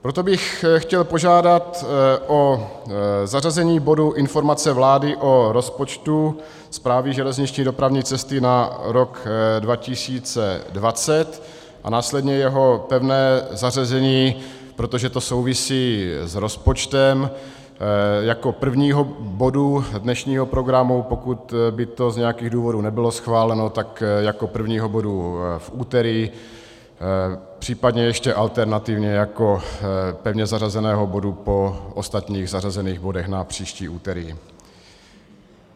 Proto bych chtěl požádat o zařazení bodu Informace vlády o rozpočtu Správy železniční dopravní cesty na rok 2020 a následně jeho pevné zařazení, protože to souvisí s rozpočtem, jako prvního bodu dnešního programu, pokud by to z nějakých důvodů nebylo schváleno, tak jako prvního bodu v úterý, případně ještě alternativně jako pevně zařazeného bodu po ostatních zařazených bodech na příští úterý.